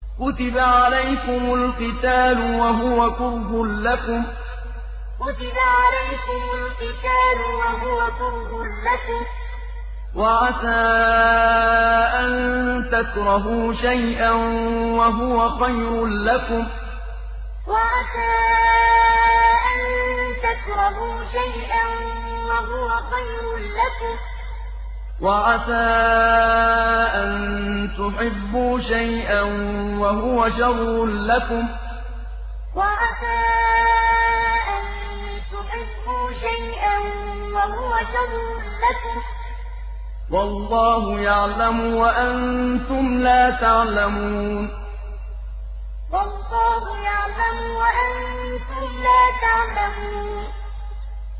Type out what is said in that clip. كُتِبَ عَلَيْكُمُ الْقِتَالُ وَهُوَ كُرْهٌ لَّكُمْ ۖ وَعَسَىٰ أَن تَكْرَهُوا شَيْئًا وَهُوَ خَيْرٌ لَّكُمْ ۖ وَعَسَىٰ أَن تُحِبُّوا شَيْئًا وَهُوَ شَرٌّ لَّكُمْ ۗ وَاللَّهُ يَعْلَمُ وَأَنتُمْ لَا تَعْلَمُونَ كُتِبَ عَلَيْكُمُ الْقِتَالُ وَهُوَ كُرْهٌ لَّكُمْ ۖ وَعَسَىٰ أَن تَكْرَهُوا شَيْئًا وَهُوَ خَيْرٌ لَّكُمْ ۖ وَعَسَىٰ أَن تُحِبُّوا شَيْئًا وَهُوَ شَرٌّ لَّكُمْ ۗ وَاللَّهُ يَعْلَمُ وَأَنتُمْ لَا تَعْلَمُونَ